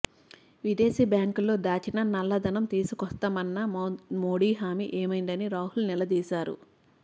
విదేశీ బ్యాంకుల్లో దాచిన నల్లధనం తీసుకొస్తామన్న మోదీ హామీ ఏమైందని రాహుల్ నిలదీశారు